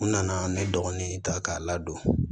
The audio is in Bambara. N nana ne dɔgɔnin in ta k'a ladon